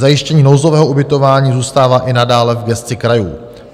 Zajištění nouzového ubytování zůstává i nadále v gesci krajů.